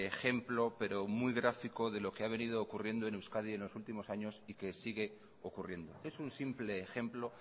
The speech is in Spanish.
ejemplo pero muy gráfico de lo que ha venido ocurriendo en euskadi en los últimos años y que sigue ocurriendo es un simple ejemplo